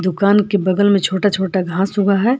दुकान के बगल में छोटा छोटा घास उगा है।